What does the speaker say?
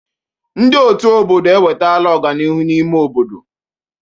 Ndị ọ̀tú obodo ewetala ọganihu n'ime obodo.